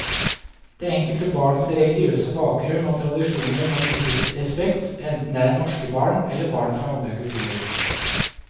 Det enkelte barns religiøse bakgrunn og tradisjoner må vises respekt, enten det er norske barn eller barn fra andre kulturer.